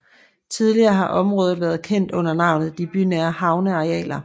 Tidligere har området været kendt under navnet De bynære havnearealer